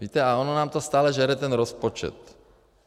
Víte, a ono nám to stále žere ten rozpočet.